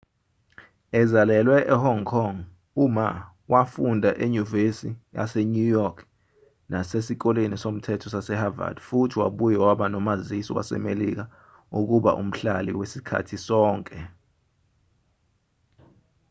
ezalelwe ehong kong u-ma wafunda enyuvesi yasenew york nasesikoleni somthetho sase-havard futhi wabuye waba nomazisi wasemelika wokuba umhlali wasikhathi sonke